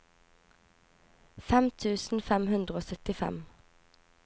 fem tusen fem hundre og syttifem